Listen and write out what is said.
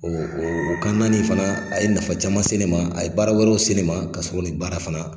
O o o kan naani in fana a ye nafa caman se ne ma a ye baara wɛrɛw se ne ma ka sɔrɔ ni baara fana